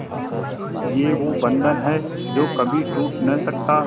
ये वो बंधन है जो कभी टूट नही सकता